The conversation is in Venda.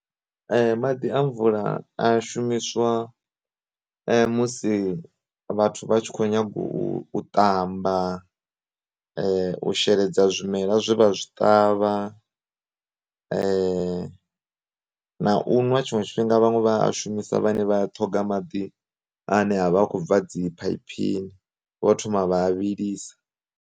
Maḓi a mvula a shumiswa musi vhathu vhatshi kho nyaga u tamba, u sheledza zwimela zwe vha zwi ṱavha, na u ṅwa tshiṅwe tshifhinga vhaṅwe vha a shumisa vhane vha ya ṱhoga maḓi ane avha akho bva dzi phaiphini vho thoma vha a vhilisa.